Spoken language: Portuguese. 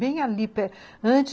Bem ali, perti